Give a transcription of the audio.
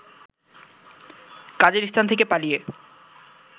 কাজের স্থান থেকে পালিয়ে